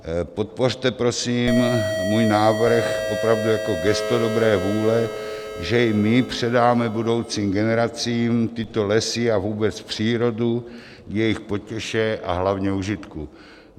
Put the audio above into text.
Podpořte, prosím, můj návrh opravdu jako gesto dobré vůle, že my předáme budoucím generacím tyto lesy a vůbec přírodu k jejich potěše a hlavně užitku.